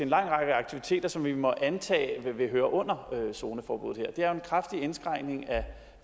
lang række aktiviteter som vi må antage vil høre under zoneforbuddet det er jo en kraftig indskrænkning af